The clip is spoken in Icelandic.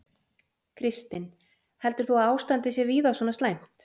Kristinn: Heldur þú að ástandið sé víða svona slæmt?